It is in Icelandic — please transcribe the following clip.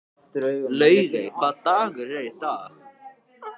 Laugey, hvaða dagur er í dag?